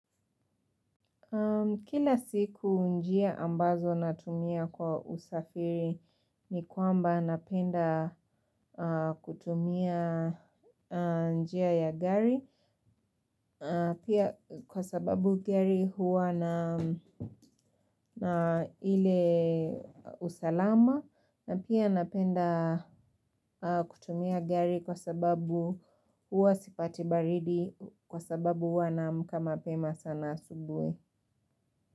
Kila siku njia ambazo natumia kwa usafiri ni kwamba napenda kutumia njia ya gari. Pia kwa sababu gari huwa na ile usalama. Na pia napenda kutumia gari kwa sababu huwa sipati baridi kwa sababu huwa naamka mapema sana asubuhi.